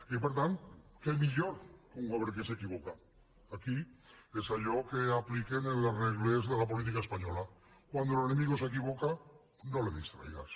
i per tant què millor que un govern que s’equivoca aquí és allò que apliquen en les regles de la política espanyola cuando el enemigo se equivo·ca no le distraigas